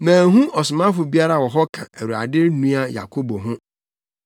Manhu ɔsomafo biara wɔ hɔ ka Awurade nua Yakobo ho.